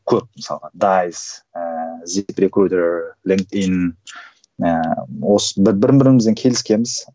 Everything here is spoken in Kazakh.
көп мысалға дайс ііі бірін бірімізбен келіскенбіз